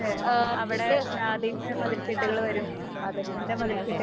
ഏ അതെ അതെയതെ.